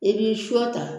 I bi su ta